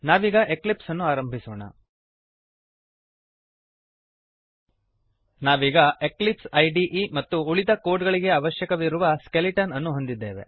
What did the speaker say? ನಾವೀಗ ಎಕ್ಲಿಪ್ಸನ್ನು ಪ್ರಾರಂಭಿಸೋಣ ನಾವೀಗ ಎಕ್ಲಿಪ್ಸ್ ಇದೆ ಐಡಿಇ ಮತ್ತು ಉಳಿದ ಕೋಡ್ ಗಳಿಗೆ ಅವಶ್ಯಕವಿರುವ ಸ್ಕೆಲಿಟನ್ ಅನ್ನು ಹೊಂದಿದ್ದೇವೆ